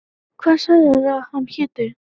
Hvað sagðirðu að hann héti?